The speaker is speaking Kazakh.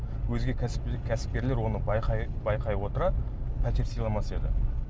өзге кәсіпкерлер оны байқай байқай отыра пәтер сыйламас еді